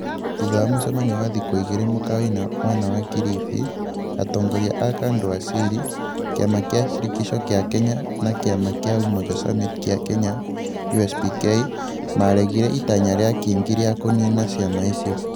Thutha wa mũcemanio wa thikũ igĩrĩ mũkawa-inĩ mwena wa Kilifi, atongoria a Kadu Asili, kĩama kĩa Shirikisho kĩa Kenya na kĩama kĩa Umoja Summit kĩa Kenya (USPK) nĩ maaregire itanya rĩa Kingi rĩa kũniina ciama icio.